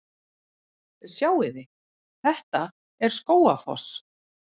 Sjáiði! Þetta er Skógafoss.